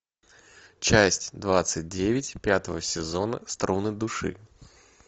часть двадцать девять пятого сезона струны души